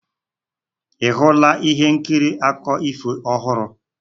Ị hụla ihe nkiri akụkọ ifo ọhụrụ?